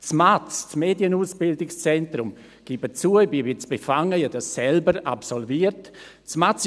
Ich gebe zu, ich bin etwas befangen, weil ich das MAZ, das Medienausbildungszentrum, selbst absolviert habe.